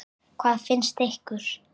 Hvað finnst ykkur?